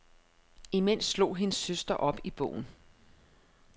Imens slog hendes søster op i bogen.